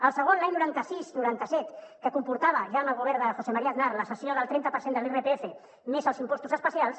el segon l’any noranta sis·noranta set que comportava ja amb el govern de josé maría aznar la cessió del trenta per cent de l’irpf més els im·postos especials